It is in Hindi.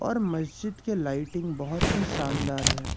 और मस्जिद के लाइटिंग बहुत ही शानदार है।